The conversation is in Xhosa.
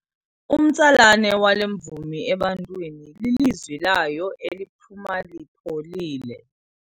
Umtsalane wale mvumi ebantwini lilizwi layo eliphuma lipholile.